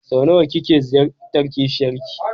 Sau nawa kike ziyartar kishiyan ki?